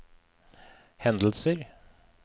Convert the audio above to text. hendelser